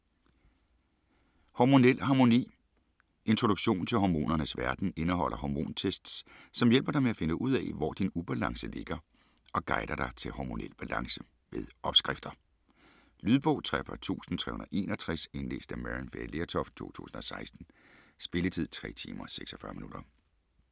Hormonel harmoni Introduktion til hormonernes verden. Indeholder "hormontests", som hjælp dig med at finde ud af, hvor din ubalance ligger og guider dig til hormonel balance. Med opskrifter. Lydbog 43361 Indlæst af Maryann Fay Lertoft, 2016. Spilletid: 3 timer, 46 minutter.